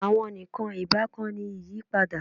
Awọn nikan ibakan ni iyipada